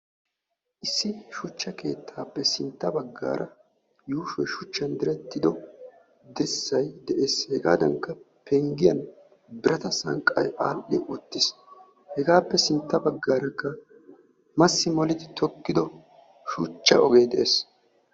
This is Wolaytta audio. issi shucha keettaappe sintta bagaara yuushoy shucchan direttido dirssay de'ees. hegaappe simmiyaagan qassi massi moli kessido pengiyaagan keexiis.